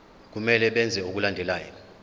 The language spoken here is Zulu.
kumele benze okulandelayo